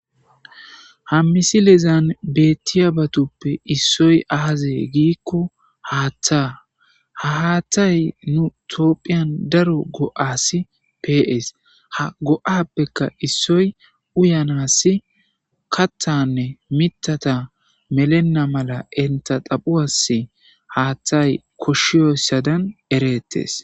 Hammisi lezan bettiya batuppe issoy aaze giikko haaththa ha haatthay nu toophiyan daro go7asi pees ha go7appeka issoy uyanassi kathanne mitata melenna mala enta xaphu as haaththay koshshiyossadan ereettes.